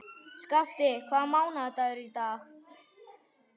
Skafti, hvaða mánaðardagur er í dag?